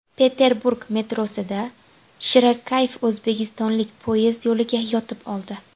Peterburg metrosida shirakayf o‘zbekistonlik poyezd yo‘liga yotib oldi.